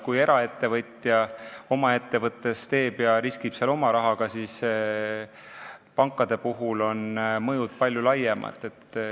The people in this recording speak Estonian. Kui eraettevõtja teeb oma ettevõtte, siis ta riskib seal oma rahaga, kuid pankade puhul on mõju palju laiem.